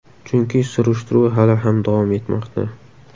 Chunki surishtiruv hali ham davom etmoqda.